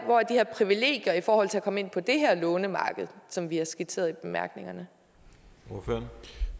her privilegier i forhold til at komme ind på det her lånemarked som vi har skitseret i bemærkningerne er